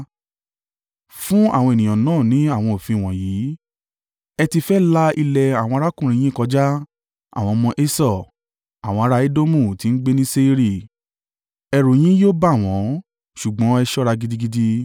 Fún àwọn ènìyàn náà ní àwọn òfin wọ̀nyí: ‘Ẹ ti fẹ́ la ilẹ̀ àwọn arákùnrin yín kọjá, àwọn ọmọ Esau; àwọn ará Edomu tí ń gbé ní Seiri. Ẹ̀rù yín yóò bà wọ́n, ṣùgbọ́n ẹ ṣọ́ra gidigidi.